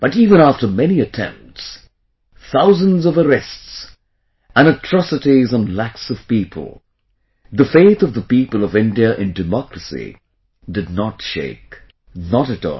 But even after many attempts, thousands of arrests, and atrocities on lakhs of people, the faith of the people of India in democracy did not shake... not at all